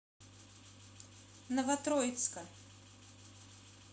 новотроицка